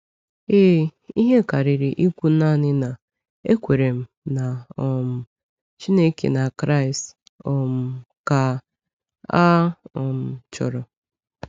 Ee, ihe karịrị ikwu naanị na, ‘Ekwere m na um Chineke na Kraịst’ um ka a um chọrọ.